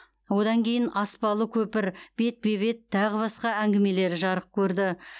онан кейін аспалы көпір бетпе бет тағы басқа әңгімелері жарық көрді